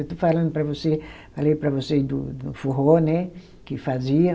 Eu estou falando para você, falei para vocês do do forró, né, que fazia.